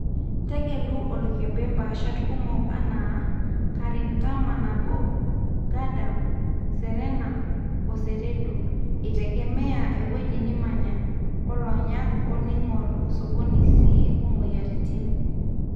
tegelu oloikembe paashat kumok anaa KARI mtama-1,Gadam, Serena, oo Seredo, eitegemea ewueji nimanya, loonyak o ningor sokoni sii omoyiaritin